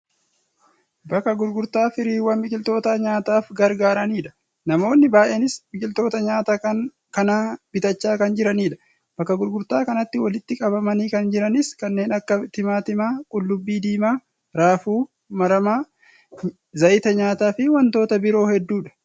Bakka gurgurtaa firiiwwan biqiltoota nyaataaf gargaaraniidha. Namoonni baay'eenis biqiltoota nyaataa kana bitachaa kan jiranidha. Bakka gurgurtaa kanatti walitti qabamanii kan jiranis kanneen akka timaatimaa, qullubbii diimaa, raafuu maramaa, zayita nyaataa fi wantoota biroo hedduudha.